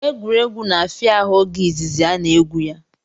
Egwuregwu na-afịa ahụ oge izizi a na-egwu ya